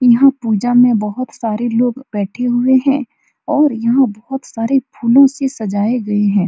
यहां पूजा में बहोत सारे लोग बैठे हुए है और यहाँ बहुत सारे फूलो से सजाये गए है।